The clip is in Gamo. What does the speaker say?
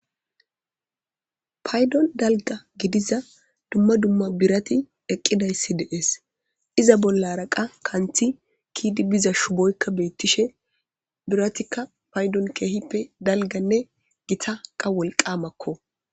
paydon dalga gidiza dumma dumma birati eqqidayssi deees iza bolla araqa kanthi kiidi biza shuboykka beyttishe biratikka paydon keehippe dalganne gitaqa wolqamakko